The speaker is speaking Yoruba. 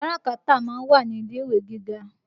Káràkátà ma ń wà ní ilé-ìwé gíga.